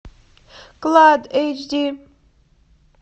клад эйч ди